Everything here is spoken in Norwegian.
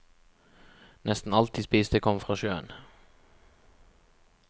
Nesten alt de spiste kom fra sjøen.